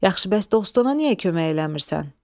Yaxşı, bəs dostuna niyə kömək eləmirsən?